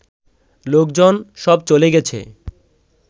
লোকজন সব চ’লে গেছে